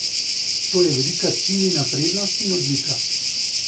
To je velika Tinina prednost in odlika.